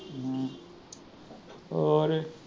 ਹੋਰ